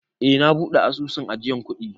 Eh, na buɗe asusun ajiyan kuɗi.